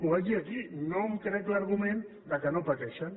ho vaig dir aquí no em crec l’argument que no pateixen